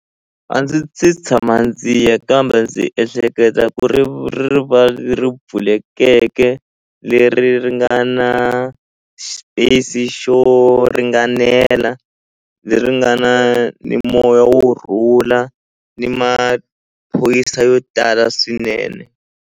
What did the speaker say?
A ndzi se tshama ndzi ya kambe ndzi ehleketa ku ri rivala leri pfulekeke leri ri nga na xipesi xo ringanela leri nga na ni moya wu rhula ni maphorisa yo tala swinene.